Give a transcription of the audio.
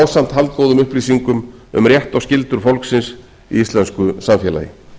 ásamt haldgóðum upplýsingum um rétt og skyldur fólksins í íslensku samfélagi